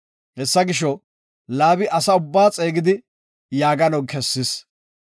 Hessa gisho, Laabi asa ubba xeegidi yaagano kessis.